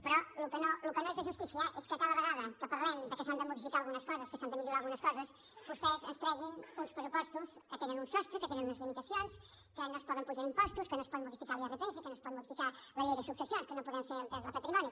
però el que no és de justícia és que cada vegada que parlem de que s’han de modificar algunes coses que s’han de millorar algunes coses vostès ens treguin uns pressupostos que tenen un sostre que tenen unes limitacions que no es poden apujar impostos que no es pot modificar l’irpf que no es pot modificar la llei de successions que no podem fer la de patrimoni